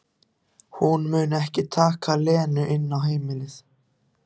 Hún mun ekki taka Lenu inn á heimilið.